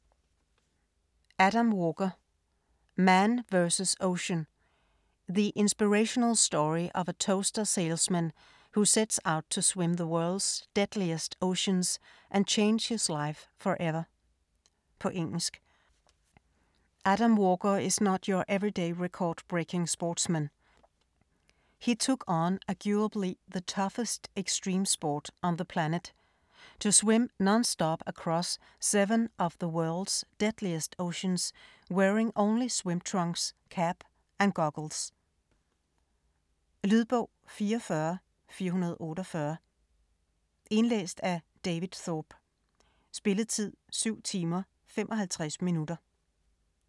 Walker, Adam: Man vs ocean: the inspirational story of a toaster salesman who sets out to swim the world's deadliest oceans and change his life for ever På engelsk. Adam Walker is not your everyday record-breaking sportsman. He took on arguably the toughest extreme sport on the planet, to swim non-stop across seven of the world's deadliest oceans wearing only swim trunks, cap and goggles. Lydbog 44448 Indlæst af David Thorpe Spilletid: 7 timer, 55 minutter.